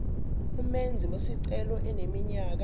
umenzi wesicelo eneminyaka